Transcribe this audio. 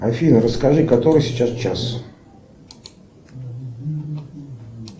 афина расскажи который сейчас час